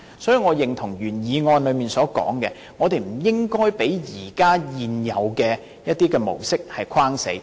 所以，我認同原議案提出，我們不應該被一些現有的模式局限。